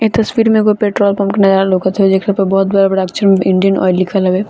इ तस्वीर में एगो पेट्रोल पंप नया लउकत हउ जेकरा पर बहुत बड़ा बड़ा अक्छर में इंडियन आयल लिखल हवे |